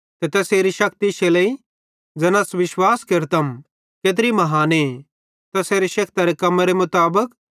ते तैसेरी शक्ति इश्शे लेइ ज़ैना अस विश्वास केरतम केत्री महाने तैसेरी शेक्तरे कम्मेरे मुताबिक